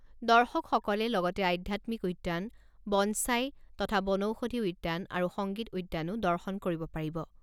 দৰ্শকসকলে লগতে আধ্যাত্মিক উদ্যান, বনছাই, তথা বনৌষধি উদ্যান আৰু সংগীত উদ্যানো দৰ্শন কৰিব পাৰিব।